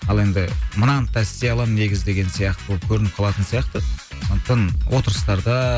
ал енді мынаны да істей аламын негізі деген сияқты болып көрініп қалатын сияқты сондықтан отырыстарда